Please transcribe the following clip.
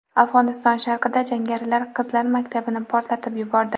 Afg‘oniston sharqida jangarilar qizlar maktabini portlatib yubordi.